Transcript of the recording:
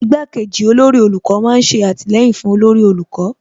Igbá kejì olórí olùkọ́ má ń ṣe àtìlẹyìn fún olórí olùkọ́